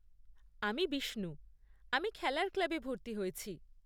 আমি বিষ্ণু, আমি খেলার ক্লাবে ভর্তি হয়েছি।